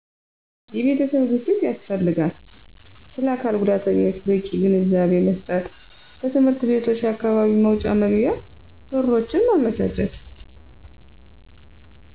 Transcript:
የቤተሰብ ግፊት ያስፈልጋል ስለአካልጉዳተኞች በቂ ግንዛቤመስጠት በትምህርት ቤቶች አካባቢ መውጫ መግቢያ በሮችን ማመቻቸት